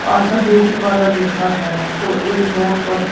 आशा beauty parlour लिखा है और एक बोर्ड पर--